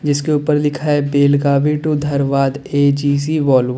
जिसके ऊपर लिखा है Belagavi to Dharwad A G C Volvo.